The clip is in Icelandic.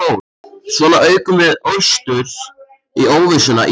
Svona ókum við austur í óvissuna í sautján daga.